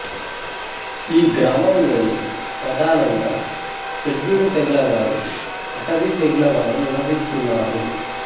ఈ గ్రామంలోని ప్రధానంగా షెడ్యూలు తెగలవారు అటవీ తెగలవారు నివసిస్తున్నారు